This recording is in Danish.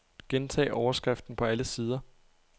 Gentag overskriften på alle sider.